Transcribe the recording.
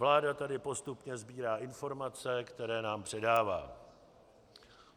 Vláda tady postupně sbírá informace, které nám předává.